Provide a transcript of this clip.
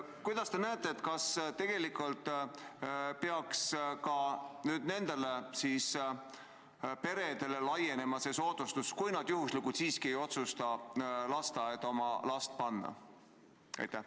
Kuidas te ette kujutate, kas tegelikult peaks nendele peredele ka laienema see soodustus, kui nad ikkagi ei otsusta lasteaeda oma last panna?